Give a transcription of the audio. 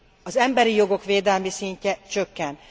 Az emberi jogok védelmi szintje csökken.